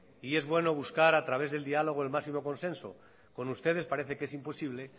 y es bueno buscar a través del diálogo el máximo consenso con ustedes parece que es imposible